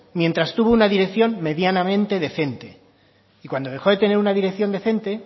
mientras tuvo una dirección medianamente decente y cuando dejó de tener una dirección decente